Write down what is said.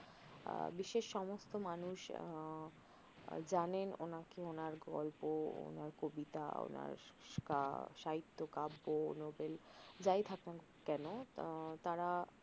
আহ বিশ্বের সমস্ত মানুষ আহ যানেন ওনাকে ওনার গল্প ওনার কবিতা ওনার সাহিত্য কাব্য নোবেল যাই থাকুক না কেন তারা